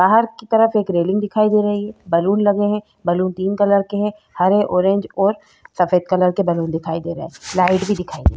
बाहर की तरफ एक रेलिंग दिखाई दे रही है बलून लगे हैं बलून तीन कलर के हैं हरे ऑरेंज और सफेद कलर के बलून दिखाई दे रहे हैं लाइट भी दिखाई दे --